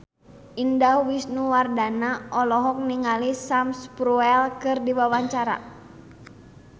Indah Wisnuwardana olohok ningali Sam Spruell keur diwawancara